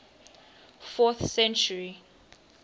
fourth century